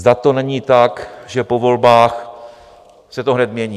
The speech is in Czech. Zda to není tak, že po volbách se to hned mění.